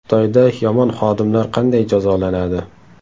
Xitoyda yomon xodimlar qanday jazolanadi?